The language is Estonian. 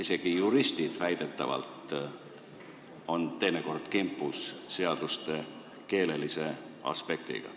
Isegi juristid on väidetavalt teinekord kimpus seaduste keelega.